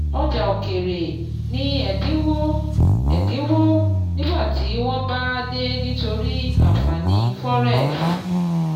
Ọjà òkèèrè ní ẹ̀dínwó ẹ̀dínwó nígbà tí wọ́n bá dé nítorí ànfàní forex.